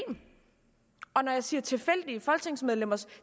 og når jeg siger tilfældige folketingsmedlemmers